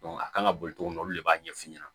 a kan ka boli togo min olu de b'a ɲɛfu ɲɛna